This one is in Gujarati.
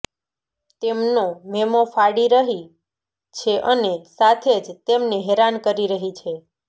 તેમનો મેમો ફાડી રહી છે અને સાથે જ તેમને હેરાન કરી રહી છે